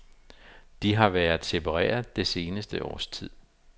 De har været separeret det seneste års tid.